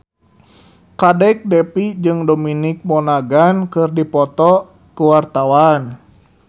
Kadek Devi jeung Dominic Monaghan keur dipoto ku wartawan